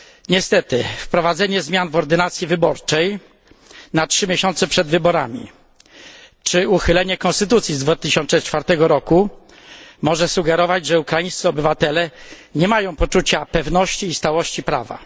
Niestety wprowadzenie zmian w ordynacji wyborczej na 3 miesiące przed wyborami czy uchylenie konstytucji z 2004 roku może sugerować, że ukraińscy obywatele nie mają poczucia pewności i stałości prawa.